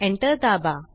enter दाबा